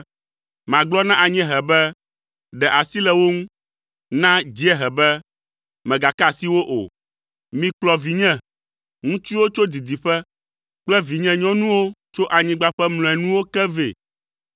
Magblɔ na anyiehe be, ‘Ɖe asi le wo ŋu.’ Na dziehe be, ‘Megasika wo o.’ Mikplɔ vinye ŋutsuwo tso didiƒe kple vinyenyɔnuwo tso anyigba ƒe mlɔenuwo ke vɛ,